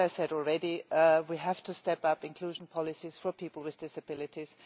As I have already said, we have to step up inclusion policies for people with disabilities.